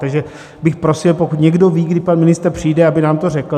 Takže bych prosil, pokud někdo ví, kdy pan ministr přijde, aby nám to řekl.